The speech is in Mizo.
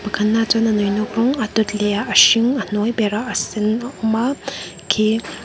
pakhatnaah chuan a nawinawk rawng a dawt lehah a hring a hnuai berah a sen a awma khi--